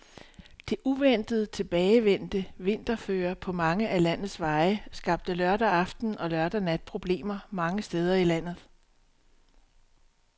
Det uventet tilbagevendte vinterføre på mange af landets veje skabte lørdag aften og lørdag nat problemer mange steder i landet.